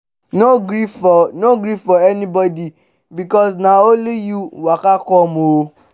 no gree for no gree for anybodi bikos na only yu waka com o